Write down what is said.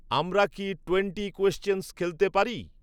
আমরা কি 'twenty questions' খেলতে পারি?